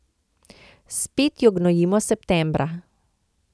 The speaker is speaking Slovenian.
Spet jo gnojimo septembra.